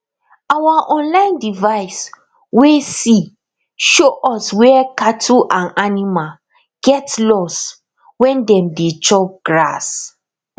our online device way see show us where cattle and animal get lost when dem dey chop grass